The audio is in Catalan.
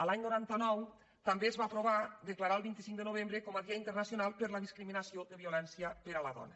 l’any noranta nou també es va aprovar declarar el vint cinc de novembre com a dia internacional per a l’eliminació de violència per a la dona